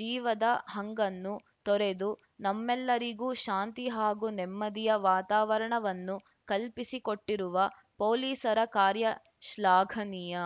ಜೀವದ ಹಂಗನ್ನು ತೊರೆದು ನಮ್ಮೆಲ್ಲರಿಗೂ ಶಾಂತಿ ಹಾಗೂ ನೆಮ್ಮದಿಯ ವಾತಾವರಣವನ್ನು ಕಲ್ಪಿಸಿಕೊಟ್ಟಿರುವ ಪೊಲೀಸರ ಕಾರ್ಯ ಶ್ಲಾಘನೀಯ